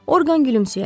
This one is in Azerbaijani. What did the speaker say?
Orqan gülümsəyərək: